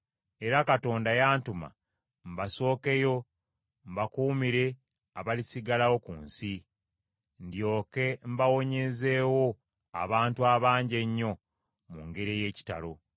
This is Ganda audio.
Era Katonda yantuma mbasookeyo mbakuumire abalisigalawo ku nsi; ndyoke mbawonyezeewo abantu abangi ennyo mu ngeri ey’ekitalo.